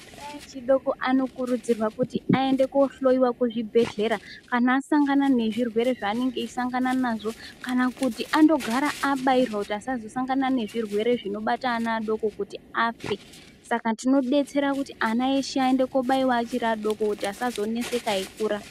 Ana echi doko ano kurudzirwa kuti ayende ko hloyiwa ku zvibhedhlera kana asangana ne zvirwere zva anenge eyi sangana nazvo kana kuti ando gara abairwa kuti asazo sangana ne zvirwere zvino bata ana adoko kuti afe saka tino detsera kuti ana eshe ayende ko baiwa achiri adoko kuti asazo neseka eyi kura.